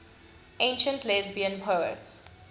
ancient lesbian poets